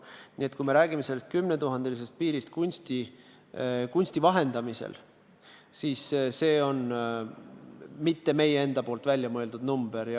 Nii et kui me räägime 10 000 euro piirist kunsti vahendamisel, siis see ei ole meie enda väljamõeldud number.